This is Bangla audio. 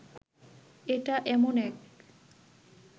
এটা এমন এক